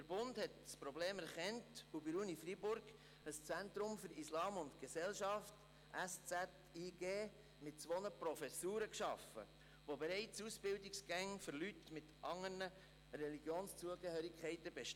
Der Bund hat das Problem erkannt und an der Universität Freiburg das Schweizerische Zentrum für Islam und Gesellschaft (SZIG) mit zwei Professuren geschaffen, wo es bereits Ausbildungsgänge für Leute mit anderen Religionszugehörigkeiten gibt.